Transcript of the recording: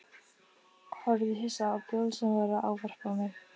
Horfði hissa á Bill sem var að ávarpa mig.